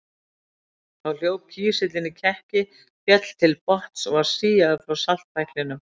Þá hljóp kísillinn í kekki, féll til botns og var síaður frá saltpæklinum.